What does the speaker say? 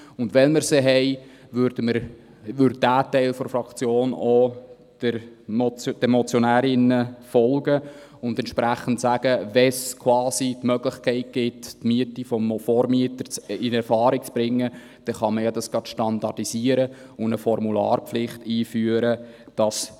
Dieser Teil würde den Motionärinnen folgen und entsprechend sagen, dass wenn es die Möglichkeit gibt, die Miete des Vormieters in Erfahrung zu bringen, man dies gerade standardisieren und eine Formularpflicht einführen können.